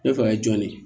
Ne fa ye jɔn de ye